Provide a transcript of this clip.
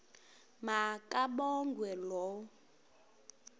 ma kabongwe low